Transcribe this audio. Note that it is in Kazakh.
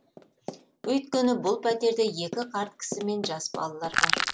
өйткені бұл пәтерде екі қарт кісі мен жас балалар бар